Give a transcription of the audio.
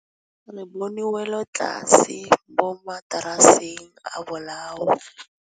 Re bone wêlôtlasê mo mataraseng a bolaô.